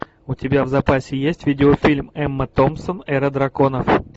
у тебя в запасе есть видеофильм эмма томпсон эра драконов